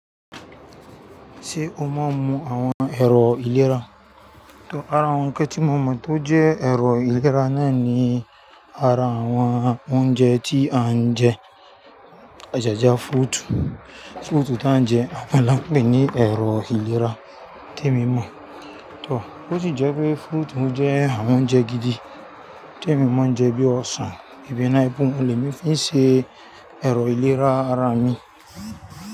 Ṣé o mo n mu àwọn ẹ̀rọ ìlera? Àwọn kàn tí mo mọ̀ tó jẹ́ ẹ̀rọ ìlera náà ní ara àwọn oúnjẹ tí à ń jẹ. Ajajà fruitu, fruitu tí à ń jẹ́, àwọn là ń pè ní ẹ̀rọ ìlera tí èmi mọ̀. Tór, ó sì jẹ́ pé fruit jẹ́ àwọn oúnjẹ gidi tí èmi mọ̀ ń jẹ bí i ọsàn, ebi náà bíi mo lè fi ṣe ẹ̀rọ ìlera ara mi.